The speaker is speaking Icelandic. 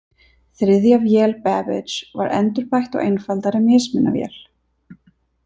Þriðja vél Babbage var endurbætt og einfaldari mismunavél.